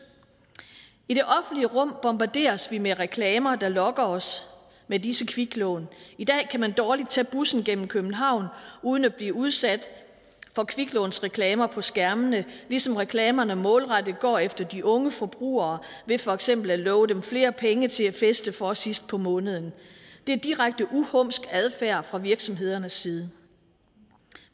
i det offentlige rum bombarderes vi med reklamer der lokker os med disse kviklån i dag kan man dårligt tage bussen gennem københavn uden at blive udsat for kviklånsreklamer på skærmene ligesom reklamerne målrettet går efter de unge forbrugere ved for eksempel at love dem flere penge til at feste for sidst på måneden det er direkte uhumsk adfærd fra virksomhedernes side